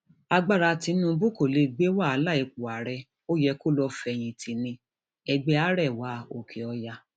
agbára tìǹbù kò lè gbé wàhálà ipò ààrẹ ó yẹ kó lọọ fẹyìntì níẹgbẹ arẹwà òkèọyà